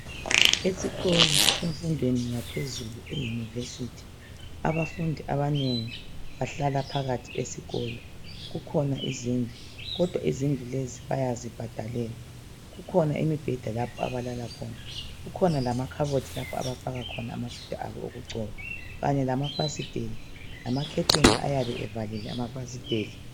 Esikolo semfundweni yaphezulu e'University' abafundi abanengi bahlala phakathi esikolo, kukhona izindlu kodwa izindlu lezi bayazibhadalela kukhona imibheda lapho abalala khona kukhona lamakhabothi lapho abafaka khona amafutha abo okugcoba kanye lamafasiteli lama"curtain "ayabe evalile amafasiteli.